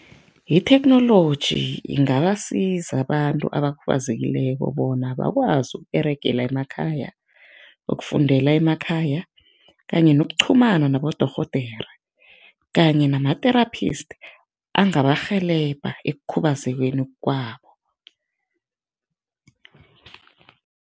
Itheknoloji ingabasiza abantu abakhubazekileko bona bakwazi ukUberegela emakhaya, ukufundela emakhaya kanye nokuqhumana nabodorhodere kanye nama-therapist angabarhelebha ekukhubazekweni kwabo.